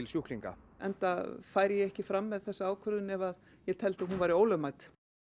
sjúklinga enda færi ég ekki fram með þessa ákvörðun ef ég teldi að hún væri ólögmæt